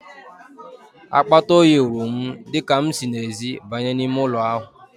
Akpata oyi wụrụ m, dịka m si n'ezi banye n'ime ụlọ ahụ.